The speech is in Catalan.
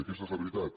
i aquesta és la veritat